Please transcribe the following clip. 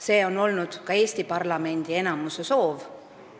See on olnud ka Eesti parlamendi enamuse soov.